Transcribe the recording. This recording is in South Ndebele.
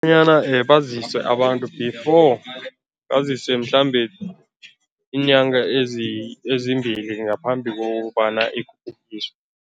Bonyana baziswe abantu before, bazise mhlambe iinyanga ezimbili ngaphambi kokobana